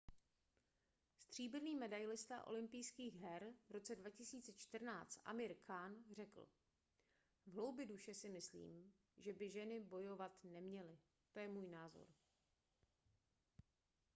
stříbrný medailista olympijských her v roce 2014 amir khan řekl v hloubi duše si myslím že by ženy bojovat neměly to je můj názor